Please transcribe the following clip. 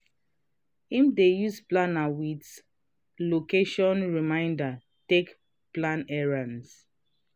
him dey use planner with location reminders take plan errends.